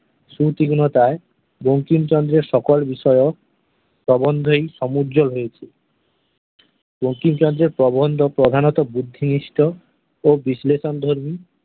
সু-তীক্ষ্ণতায় বঙ্কিমচন্দ্র-এর সকল বিষয়ক প্রবন্ধই সমুজ্জ্বল হয়েছে। বঙ্কিমচন্দ্র-এর প্রবন্ধ প্রধাণত বুদ্ধিনিষ্ট ও বিশ্লেষণধর্মী